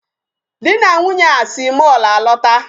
Di na Nwunye a si mall alọta.